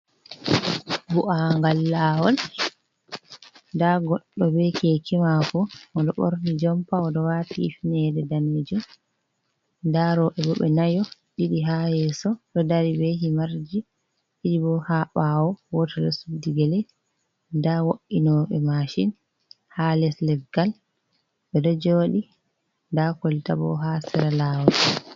Bu’angal lawol. Nda goɗɗo ɓe keke mako, oɗo borni jompa oɗo wati hifnere danejum. Nda robe bo ɓe nayo ɗido ha yeso ɗo dari be himarji, ɗido bo ha ɓawo goto ɗo Suddi gele. Nda wo’inoɓe machin ha les leggal ɓe ɗo joɗi, nda kolta bo ha Sera lawol.